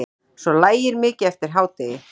Svo lægir mikið eftir hádegi.